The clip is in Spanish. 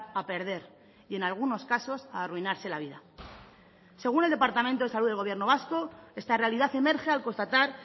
a perder y en algunos casos a arruinarse la vida según el departamento de salud del gobierno vasco esta realidad emerge al constatar